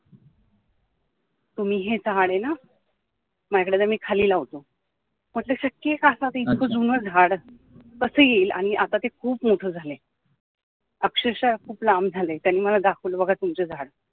तुम्ही हे झाड आहे ना माझ्याकडे द्या मी खाली लावतो म्हटलं आता शक्य आहे का आता ते इतकं जुनं झाड कसं येईल आणि आता ते खूप मोठं झालाय अक्षरशः खूप लांब झालाय, त्यांनी मला दाखवलं बोलला बघा तुमचं झाड